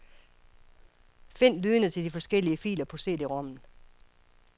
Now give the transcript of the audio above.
Find lydene til de forskellige filer på CD-rommen.